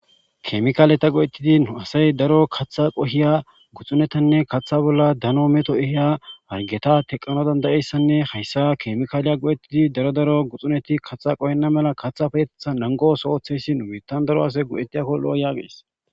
Keemikaaleta go7ettidi nu asay daro qohyanne katha bolla daro meto ehiya hargeta teqqanas danda7iyaysanne haysa keemikaale go7ettidi daro asati gakkona mala erettees.